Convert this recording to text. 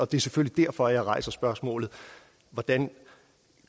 det er selvfølgelig derfor jeg rejser spørgsmålet hvordan